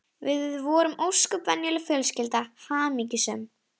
Við vorum ósköp venjuleg fjölskylda, hamingjusöm.